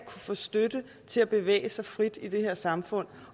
få støtte til at bevæge sig frit i det her samfund